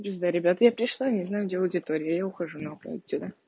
пизда ребят я пришла не знаю где аудитория я ухожу нахуй отсюда